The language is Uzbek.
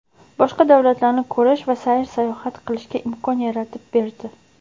boshqa davlatlarni ko‘rish va sayr-sayohat qilishga imkon yaratib berdi.